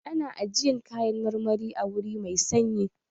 Ana ajiyan kayan marmari a wuri mai sanyi.